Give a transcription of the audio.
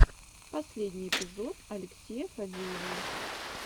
последний эпизод алексея фадеева